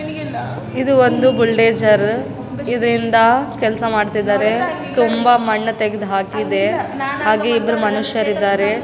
ಇದು ಒಂದು ಬುಲ್‌ಡೇಜರ್‌ ಇದ್‌ರಿಂದ ಕೆಲ್ಸ ಮಾಡ್ತಿದ್ದಾರೆ ತುಂಬ ಮಣ್ಣು ತೆಗೆದು ಹಾಕಿದೆ ಹಾಗೆ ಇಬ್ರು ಮನುಷ್ಯರಿದ್ದಾರೆ .